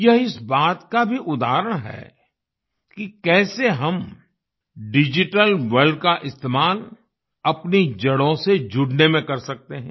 यह इस बात का भी उदाहरण है कि कैसे हम डिजिटल वर्ल्ड का इस्तेमाल अपनी जड़ों से जुड़ने में कर सकते हैं